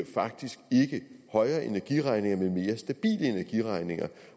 faktisk ikke giver højere energiregninger men mere stabile energiregninger